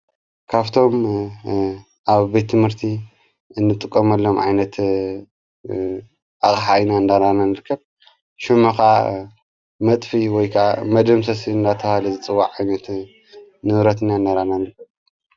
ካፍቶም ኣብ ቤትምህርቲ እንጥቆመሎም ዓይነት ኣቅሓ እንዳርኣና ንርከብ ሹምኻ መጥፊ ወይከዓ መደምሰስ እናታብሃለ ዝጽዋዕ ዓይነት ንብረትና እንዳረኣና ንርከብ።